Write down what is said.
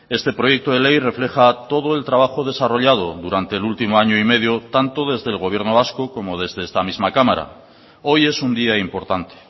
este proyecto de ley refleja todo el trabajo desarrollado durante el último año y medio tanto desde el gobierno vasco como desde esta misma cámara hoy es un día importante